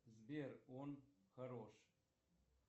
сбер он хорош